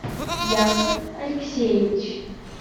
яков алексеевич